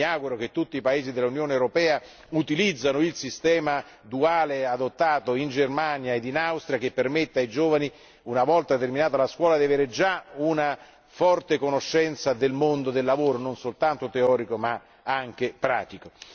Io mi auguro che tutti i paesi dell'Unione europea utilizzino il sistema duale adottato in Germania e Austria, che permette ai giovani, una volta terminata la scuola, di disporre già di una profonda conoscenza del mondo del lavoro, non soltanto teorico ma anche pratico.